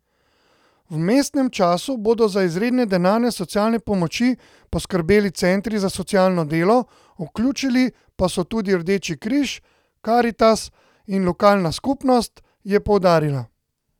V vmesnem času bodo za izredne denarne socialne pomoči poskrbeli centri za socialno delo, vključili pa so se tudi Rdeči križ, Karitas in lokalna skupnost, je poudarila.